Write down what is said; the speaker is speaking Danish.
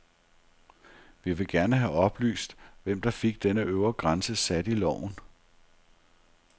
Vi vil gerne have oplyst, hvem der fik denne øvre grænse sat i loven.